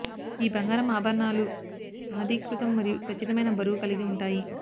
ఈ బంగారం ఆభరణాలు ఆధీకృతం మరియు ఖచ్చితమైన బరువు కలిగి ఉంటాయి